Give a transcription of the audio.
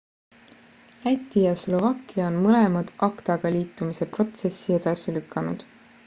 läti ja slovakkia on mõlemad acta-ga liitumise protsessi edasi lükanud